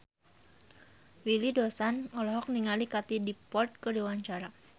Willy Dozan olohok ningali Katie Dippold keur diwawancara